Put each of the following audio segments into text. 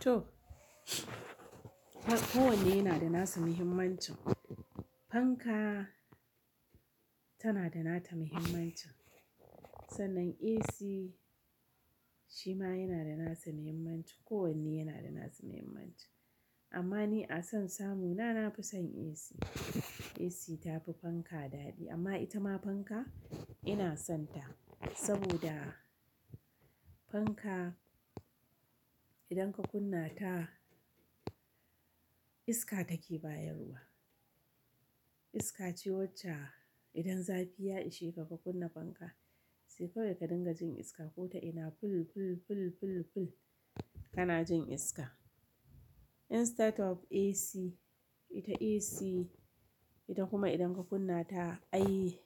To, ko wanne yana da nasa muhimmancin. Fanka tana da nata muhimmancin, sannan AC shi ma yana da nasa muhimmanci, ko wanne yana da nasa muhimmanci. Amma ni a son samu na, na fi son AC. AC ta fi fanka dadi amma ita ma fanka ina son ta saboda fanka idan ka kunna ta iska take bayarwa. Iska cewacce idan zafi ya ishe ka, ka kunna fanka sai kawai ka dinga jin iska. Ko ta ina ful, ful, ful, ful, ful kana jin iska. In start up AC, ita AC ita kuma idan ka kunna ta ai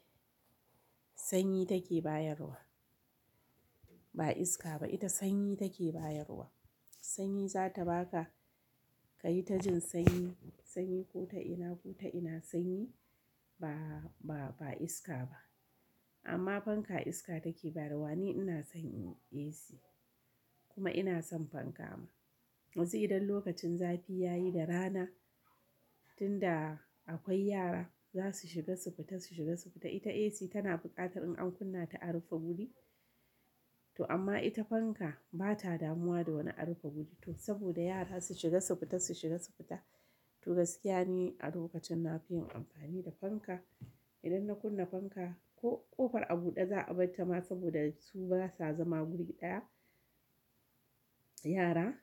sanyi take bayarwa, ba iska ba ita sanyi take bayarwa. AC ta fi fanka dadi amma ita ma fanka ina son ta saboda fanka idan ka kunna ta iska take bayarwa. Amma fanka iska take bayarwa. Ni ina son AC kuma ina son fanka ma. Yanzu idan lokacin zafi ya yi da rana tunda akwai yara za su shiga su fita, su shiga su fita ita AC tana buƙatar in an kunna ta a rufe guri. To amma ita fanka ba ta damuwa da wani a rufe guri to saboda yara su shiga su fita, su shiga su fita. To gaskiya ni a lokacin na fi yin amfani da fanka. Idan na kunna fanka ko ƙofar a buɗe za a bar ta ma saboda su basa zama guri ɗaya yara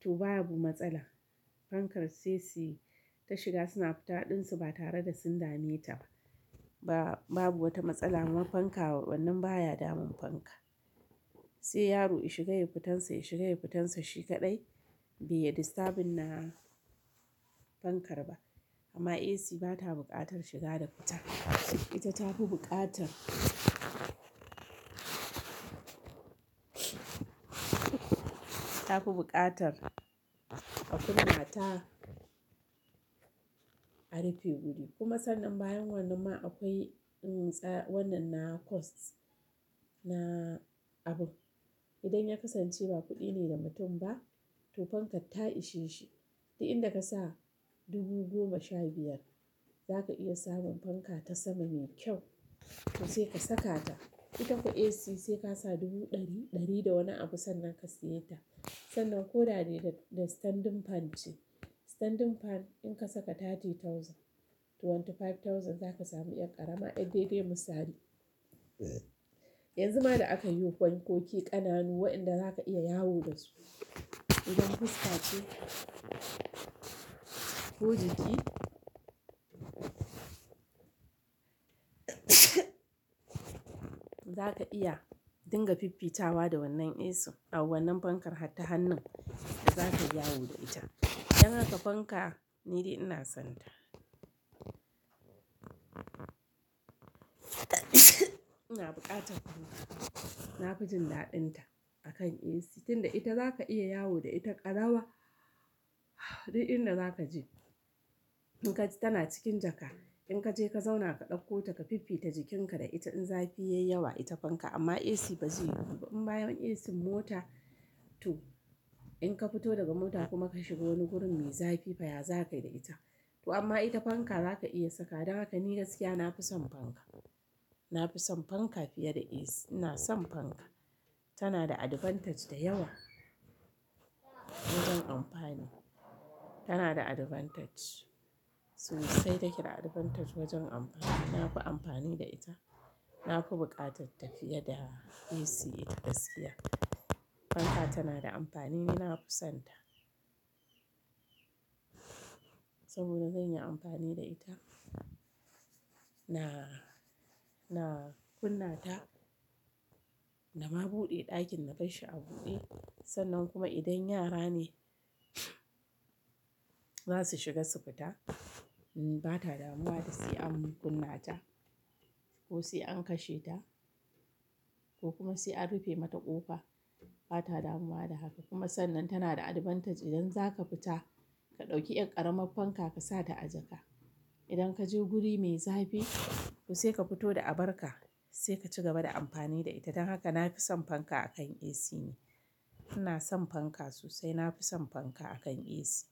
to baya bu matsala. Fankar sai suyi ta shiga suna fita ɗinsu ba tare da sun dame ta ba. Ba, babu wata matsala ma fanka wannan baya damun fanka. Sai yaro ya shiga ya fitan sa, ya shiga ya fitan sa shi kaɗai bai ya disturbuna fankar ba. Amma AC ba ta buƙatar shiga da fita. Ita ta fi buƙatar, ta fi buƙatar a kunna ta a rufe guri. Kuma sannan bayan wannan ma akwai ntsa wannan na cost na abu. Idan ya kasance ba kuɗi ne da mutum ba to fankar ta ishe shi. Duk inda ka sa dubu goma sha biyar za ka iya samun fanka ta sama mai kyau to sai ka saka ta. Ita ko AC sai ka sa dubu ɗari, ɗari da wani abu sannan ka siya ta. Sannan ko da daidai da standing fan ce. Standing fan in ka saka thirty thousand to twenty five thousand za ka samu ƴar ƙarama ƴar daidai misali. Yanzu ma da aka yi fankoki ƙananu waɗanda za ka iya yawo da su. Idan fuska ce, ko jiki za ka iya dinga fifita wa da wannan AC a wannan fankar ta hannun za ka iya yawo da ita. Dan haka fanka ni dai ina son ta. Ina buƙatar fanka. Na fi jin daɗinta a kan AC tunda ita za ka iya yawo da ita ƙarawa duk inda za ka je. In ka ji tana cikin jaka in ka je ka zauna ka ɗauko ta ka fifita jikinka da ita in zafi ya yi yawa ita fanka amma AC ba zai yiwu ba. In bayan AC mota to in ka fito daga mota kuma ka shiga wani gurin mai zafi fa ya za ka yi da ita. To amma ita fanka za ka iya saka. Dan haka ni gaskiya na fi son fanka. Na fi son fanka fiye da AC. Ina son fanka. Tana da advantage da yawa wajen amfani. Tana da advantage sosai take da advantage wajen amfani. Na fi amfani da ita. Na fi buƙatar ta fiye da AC ita gaskiya. Fanka tana da amfani ni na fi son ta. Saboda zan yi amfani da ita. Na, na kunna ta na ma buɗe ɗakin na kai shi a buɗe. Sannan kuma idan yara ne za su shiga su fita ba ta damuwa da sai an kunna ta ko sai an kashe ta ko kuma sai a rufe mata ƙofa. Ba ta damuwa da haka. Kuma sannan tana da advantage idan za ka fita ka ɗauki ƴar ƙaramar fanka ka sa ta a jaka. Idan ka je guri mai zafi to sai ka fito da abar ka sai ka ci gaba da amfani da ita. Dan haka na fi son fanka a kan AC ne. Ina son fanka sosai. Na fi son fanka a kan AC.